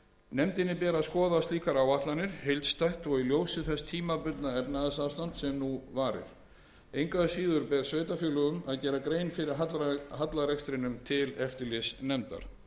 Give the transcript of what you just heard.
nefndinni ber að skoða slíkar áætlanir heildstætt og í ljósi þess tímabundna efnahagsástands sem nú varir engu að síður ber sveitarfélögum að gera grein fyrir hallarekstrinum til eftirlitsnefndar